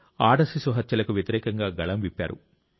ఆడ శిశు హత్యలకు వ్యతిరేకంగా గళం విప్పారు